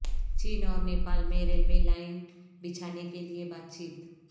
چین اور نیپال میں railway line بچھانے کیلئے بات چیت